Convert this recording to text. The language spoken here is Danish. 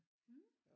Mh